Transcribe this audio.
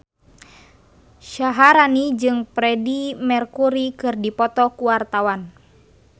Syaharani jeung Freedie Mercury keur dipoto ku wartawan